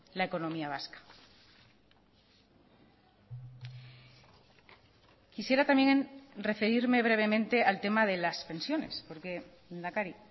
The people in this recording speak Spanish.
la economía vasca quisiera también referirme brevemente al tema de las pensiones porque lehendakari